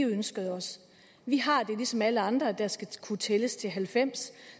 vi ønskede os vi har det ligesom alle andre der skal kunne tælles til halvfems